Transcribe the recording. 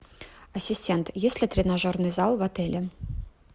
ассистент есть ли тренажерный зал в отеле